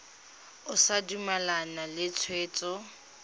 o sa dumalane le tshwetso